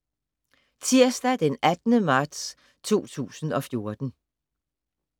Tirsdag d. 18. marts 2014